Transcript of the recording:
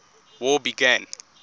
war began